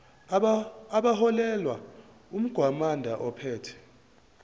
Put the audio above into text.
abaholelwa umgwamanda ophethe